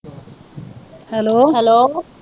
hello